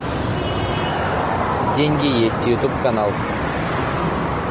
деньги есть ютуб канал